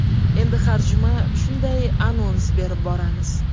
Endi har juma shunday anons berib boramiz.